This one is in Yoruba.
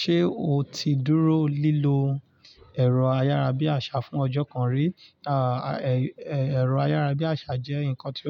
Ṣé o ti dúró lílo ẹ̀rọ ayára bí àṣá fún ọjọ́ kan rí? Èrò ayárabíàṣá je ǹkan tí